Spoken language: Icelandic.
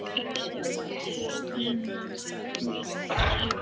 Jú, sjáðu til, vina mín sagði pabbi.